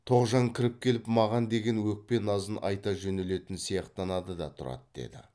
тоғжан кіріп келіп маған деген өкпе назын айта жөнелетін сияқтанады да тұрады деді